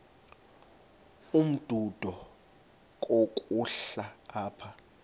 umdudo komkhulu apha